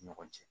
Ni ɲɔgɔn cɛ